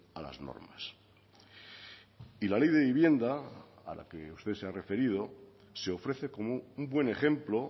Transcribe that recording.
a las normas y la ley de vivienda a la que usted se ha referido se ofrece como un buen ejemplo